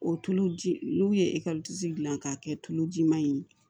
O tulu ji n'u ye ekɔliso dilan k'a kɛ tuluji ma ye